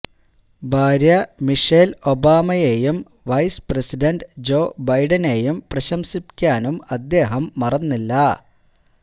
ഭാര്യ മിഷേല് ഒബാമയേയും vice president Joe ബൈഡനേയും പ്രശംസിക്കാനും അദ്ദേഹം മറന്നില്ല